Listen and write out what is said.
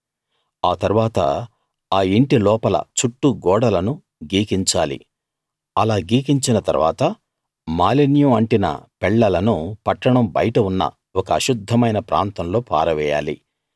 ఆ తరువాత ఆ యింటి లోపల చుట్టూ గోడలను గీకించాలి అలా గీకించిన తరువాత మాలిన్యం అంటిన పెళ్లలను పట్టణం బయట ఉన్న ఒక అశుద్ధమైన ప్రాంతంలో పారవేయాలి